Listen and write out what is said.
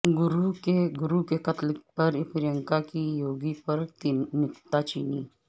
گورو کے قتل پر پرینکا کی یوگی پر نکتہ چینی